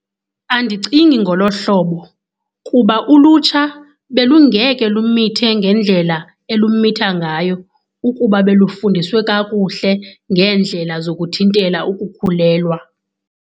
Andicingi ngolo hlobo kuba ulutsha belungeke lumithe ngendlela elumitha ngayo ukuba belufundiswe kakuhle ngeendlela zokuthintela ukukhulelwa.